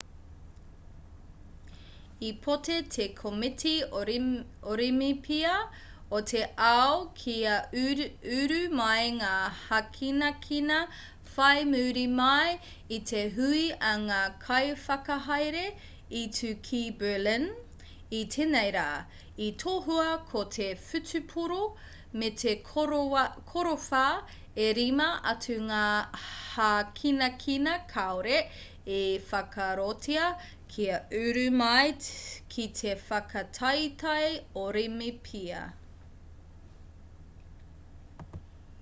i pōti te komiti orimipia o te ao kia uru mai ngā hākinakina whai muri mai i te hui a ngā kaiwhakahaere i tū ki berlin i tēnei rā i tohua ko te whutupōro me te korowhā e rima atu ngā hākinakina kāore i whakaarotia kia uru mai ki te whakataetae orimipia